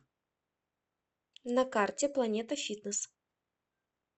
на карте планета фитнес